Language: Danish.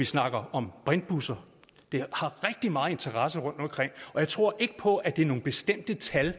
snakke om brintbusser der er rigtig meget interesse rundtomkring og jeg tror ikke på at det er nogle bestemte tal